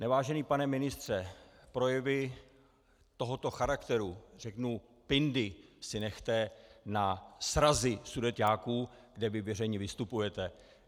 Nevážený pane ministře, projevy tohoto charakteru, řeknu pindy, si nechte na srazy sudeťáků, kde vy veřejně vystupujete.